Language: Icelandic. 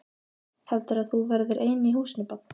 Heldurðu að þú verðir ein í húsinu barn!